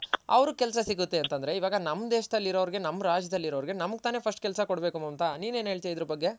ಅವ್ರಗ್ ಕೆಲ್ಸ ಸಿಗುತ್ತೆ ಅಂತ ಅಂದ್ರೆ ಇವಾಗ ನಮ್ ದೇಶದಲ್ ಇರೋವ್ರ್ಗೆ ನಮ್ ರಾಜ್ಯದಲ್ಲಿ ಇರೋವ್ರ್ಗೆ ನಮ್ಗ್ ತಾನೇ first ಕೆಲ್ಸ ಕೊಡ್ಬೇಕು ಮಮತಾ ನೀನ್ ಏನ್ ಹೇಳ್ತ್ಯ ಇದರ ಬಗ್ಗೆ.